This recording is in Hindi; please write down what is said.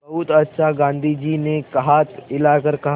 बहुत अच्छा गाँधी जी ने हाथ हिलाकर कहा